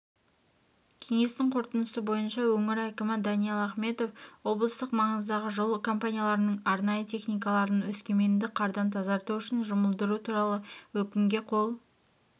кеңестің қорытындысы бойынша өңір әкімі даниал ахметов облыстық маңыздағы жол компанияларының арнайы техникаларын өскеменді қардан тазарту үшін жұмылдыру туралы өкімге қол